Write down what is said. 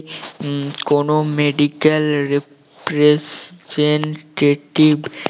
উম কোনো medical representative